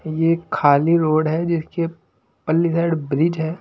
ये खाली रोड है जिसके पल्ली साइड ब्रिज है।